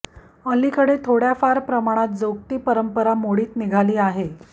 अलीकडे थोडय़ाफार प्रमाणात जोगती परंपरा मोडीत निघाली आहे